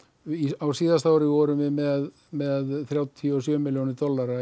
á síðasta ári vorum við með með þrjátíu og sjö milljónir dollara